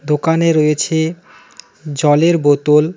দোকানে রয়েছে জলের বোতল.